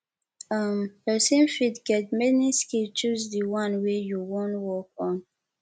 um persin fit get many skill choose di one wey you won work on